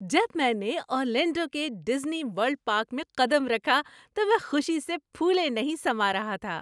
جب میں نے اورلینڈو کے ڈزنی ورلڈ پارک میں قدم رکھا تو میں خوشی سے پھولے نہیں سما رہا تھا۔